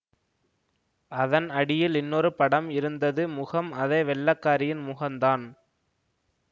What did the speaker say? அதன் அடியில் இன்னொரு படம் இருந்தது முகம் அதே வெள்ளைக்காரியின் முகந்தான்